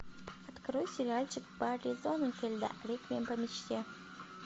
открой сериальчик барри зонненфильда реквием по мечте